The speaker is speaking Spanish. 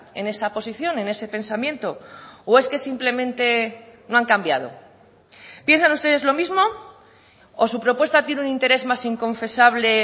en esa posición en ese pensamiento o es que simplemente no han cambiado piensan ustedes lo mismo o su propuesta tiene un interés más inconfesable